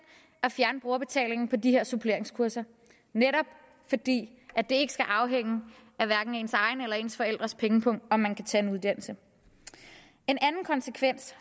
at fjerne brugerbetalingen på de her suppleringskurser netop fordi det ikke skal afhænge af hverken ens egen eller ens forældres pengepung om man kan tage en uddannelse en anden konsekvens